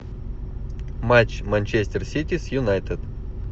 матч манчестер сити с юнайтед